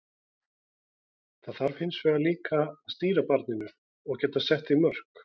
Það þarf hins vegar líka að stýra barninu og geta sett því mörk.